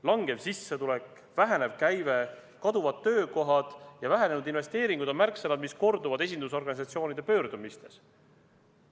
Langev sissetulek, vähenev käive, kaduvad töökohad ja vähenenud investeeringud on märksõnad, mis korduvad esindusorganisatsioonide pöördumistes.